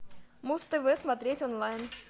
муз тв смотреть онлайн